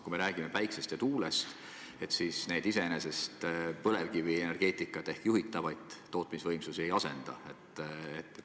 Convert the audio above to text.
Kui me räägime päikesest ja tuulest, siis need iseenesest tõesti põlevkivienergeetikat ehk juhitavaid tootmisvõimsusi ei asenda.